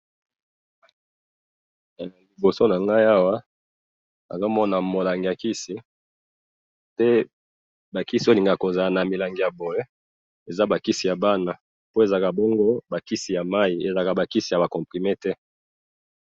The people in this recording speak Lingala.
Na moni kisi ya bana ya mai panadol.